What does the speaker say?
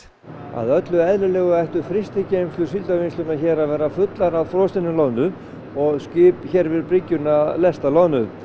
að öllu eðlilegu ættu frystigeymslur Síldarvinnslunnar hér að vera fullar af frosinni loðnu og skip hér við brygguna að lesta loðnu